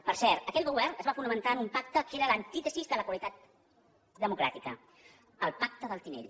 per cert aquell govern es fa fonamentar en un pacte que era l’antítesi de la qualitat democràtica el pacte del tinell